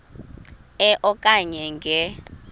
e okanye nge